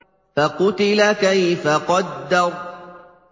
فَقُتِلَ كَيْفَ قَدَّرَ